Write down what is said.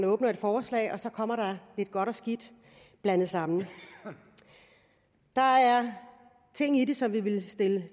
åbner forslaget kommer der lidt godt og skidt blandet sammen der er ting i det som vi vil stille